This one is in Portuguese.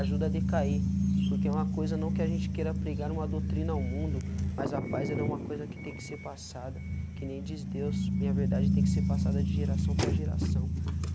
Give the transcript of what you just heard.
Ajuda a decair, porque é uma coisa não que a gente queira pregar uma doutrina ao mundo, mas a paz ela é uma coisa que tem que ser passada, que nem diz Deus, minha verdade tem que ser passada de geração para geração.